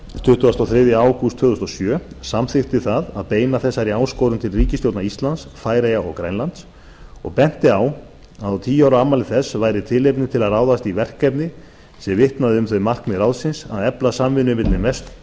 tuttugasta og þriðja ágúst tvö þúsund og sjö samþykkti það að beina þessari áskorun til ríkisstjórna íslands færeyja og grænlands og benti á að á tíu ára afmæli þess væri tilefni til að ráðast í verkefni sem vitnaði um þau markmið ráðsins að efla samvinnu milli